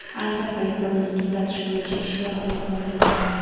Ayni paytda uni tuzatish bo‘yicha ishlar olib borilmoqda.